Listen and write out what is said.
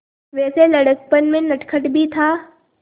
वैसे लड़कपन में नटखट भी था